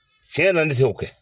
Tiɲɛ yɛrɛ la, ne te se ko kɛ.